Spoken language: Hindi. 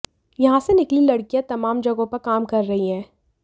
यहां से निकली लड़कियां तमाम जगहों पर काम कर रही हैं